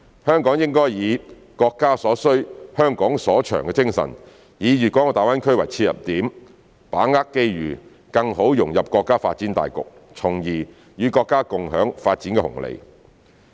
香港應以"國家所需、香港所長"的精神，以大灣區為切入點，把握機遇，更好融入國家發展大局，從而與國家共享發展紅利。